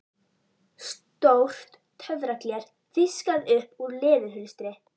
Stórt töfragler fiskað upp úr leðurhulstri